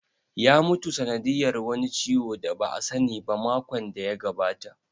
Ya mutu sanadiyar wani ciwo da ba a sani ba makon da ya gabata